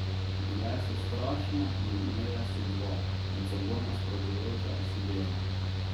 Bile so strašne in imele so dva, med seboj nasprotujoča si dela.